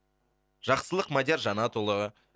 жақсылық мадияр жанатұлы